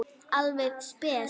Alveg spes.